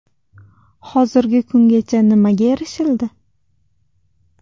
Hozirgi kungacha nimaga erishildi?